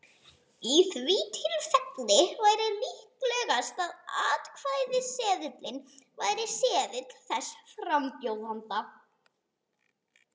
Í því tilfelli væri líklegast að atkvæðaseðilinn væri seðill þess frambjóðanda.